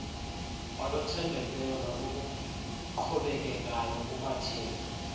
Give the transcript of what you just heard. oluthembekileyo noluqhubekekayo kubathengi